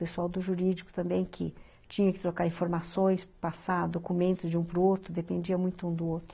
Pessoal do jurídico também que tinha que trocar informações, passar documentos de um para o outro, dependia muito um do outro.